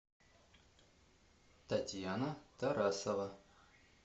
татьяна тарасова